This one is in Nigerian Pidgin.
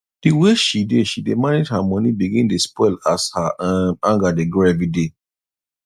the way she dey she dey manage her money begin dey spoil as her um anger dey grow everyday